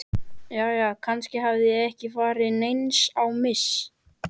Jæja, kannski hafði ég ekki farið neins á mis.